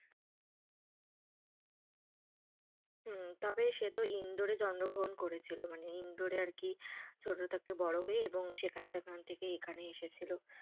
হম সে তো ইন্দোর এ জন্মগ্রহণ করেছিল মানে ইন্দোর এ আর কি ছোটো থেকে বড়ো হয়ে এবং সেখান থেকে এখানে এসেছিলো।